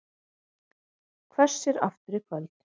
Hvessir aftur í kvöld